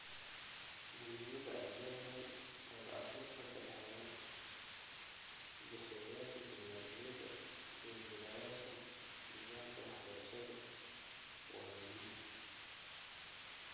Muhiimadda ay leedahay wada-abuurka ka dhexeeya bixiyeyaasha tignoolajiyada iyo jilayaasha nidaamka waxbarashadu waa muhiim.